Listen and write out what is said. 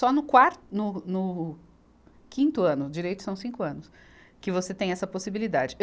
Só no quar, no, no quinto ano, direitos são cinco anos, que você tem essa possibilidade.